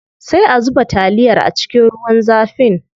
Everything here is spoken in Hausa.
Sai a zuba taliyar a cikin ruwan zafin.